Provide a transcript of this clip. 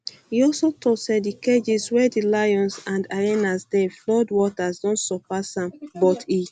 e also tok say di cages wia di um lions and hyenas dey flood water don surpass am but e um